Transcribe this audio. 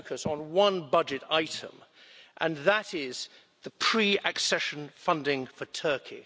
just going to focus on one budget item and that is the pre accession funding for Turkey.